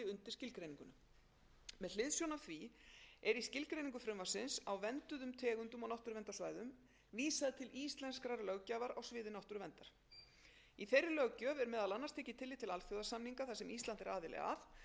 skilgreiningu frumvarpsins á vernduðum tegundum og náttúruverndarsvæðum vísað til íslenskrar löggjafar á sviði náttúruverndar í þeirri löggjöf er meðal annars tekið tillit til alþjóðasamninga þar sem ísland er aðili að